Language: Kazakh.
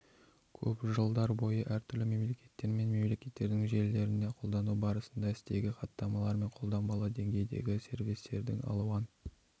көп жылдар бойы әр түрлі мемлекеттер мен мекемелердің желілерінде қолдану барысында стегі хаттамалар мен қолданбалы деңгейдегі сервистердің алуан